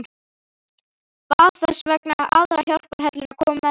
Bað þess vegna aðra hjálparhelluna að koma með sér.